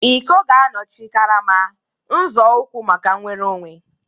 Iko ga-anọchi karama, nzọụkwụ maka nnwere onwe.